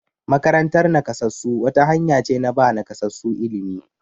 Makarantar nakasassu wata hanya ce na ba nakasassu ilimi.